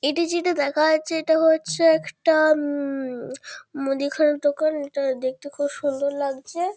এটি যেটা দেখা যাচ্ছে এটা হচ্ছে একটা উম মুদিখানার দোকান। এটা দেখতে খুব সুন্দর লাগছে।